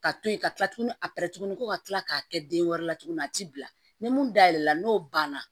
Ka to yen ka kila tuguni a tuguni ko ka kila k'a kɛ den wɛrɛ la tuguni a ti bila ni mun dayɛlɛla n'o banna